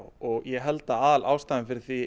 og ég held að aðalástæðan fyrir því